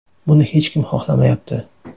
Buni hech kim xohlamayapti.